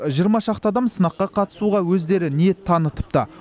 жиырма шақты адам сынаққа қатысуға өздері ниет танытыпты